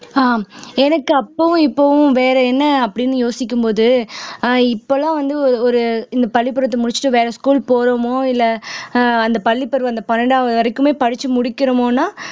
ஆஹ் எனக்கு அப்பவும் இப்பவும் வேற என்ன அப்படின்னு யோசிக்கும் போது ஆஹ் இப்பல்லாம் வந்து ஒரு இந்தப் பள்ளிக்கூடத்தை முடிச்சிட்டு வேற school போறோமோ இல்லை ஆஹ் அந்தப் பள்ளிப்பருவம் அந்தப் பன்னிரண்டாவது வரைக்குமே படிச்சு முடிக்கறோமோன்னா